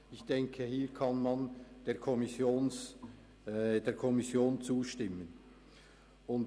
Ich denke, dass man hier der Kommission zustimmen kann.